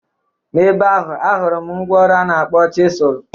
Na ebe ahụ ahụrụ m mgwa ọrụ a na-akpọ chịsụlụ.